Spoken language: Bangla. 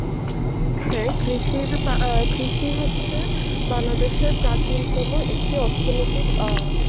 হ্যাঁ কৃষির বা অ্যাঁ কৃষি হচ্ছে বাংলাদেশের প্রাচীনতম একটি অর্থনীতির অ্যাঁ